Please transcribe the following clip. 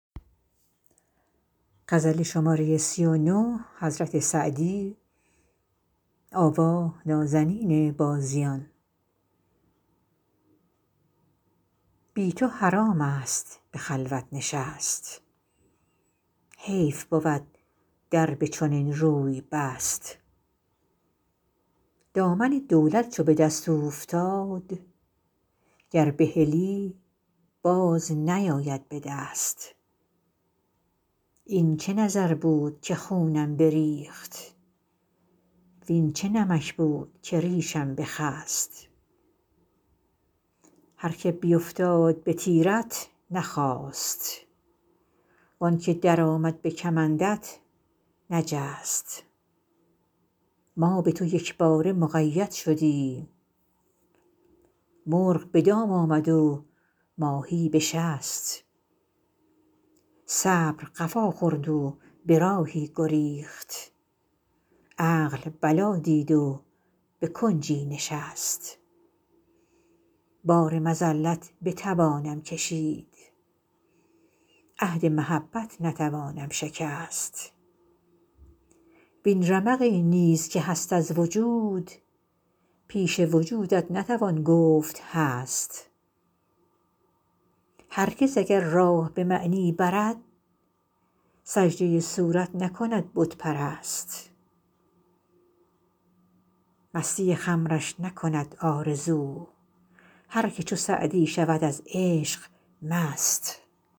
بی تو حرام است به خلوت نشست حیف بود در به چنین روی بست دامن دولت چو به دست اوفتاد گر بهلی باز نیاید به دست این چه نظر بود که خونم بریخت وین چه نمک بود که ریشم بخست هر که بیفتاد به تیرت نخاست وان که درآمد به کمندت نجست ما به تو یکباره مقید شدیم مرغ به دام آمد و ماهی به شست صبر قفا خورد و به راهی گریخت عقل بلا دید و به کنجی نشست بار مذلت بتوانم کشید عهد محبت نتوانم شکست وین رمقی نیز که هست از وجود پیش وجودت نتوان گفت هست هرگز اگر راه به معنی برد سجده صورت نکند بت پرست مستی خمرش نکند آرزو هر که چو سعدی شود از عشق مست